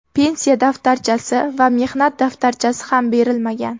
Pensiya daftarchasi va mehnat daftarchasi ham berilmagan.